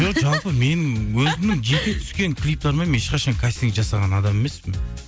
жоқ жалпы мен өзімнің жеке түскен клиптарыма мен ешқашан кастинг жасаған адам емеспін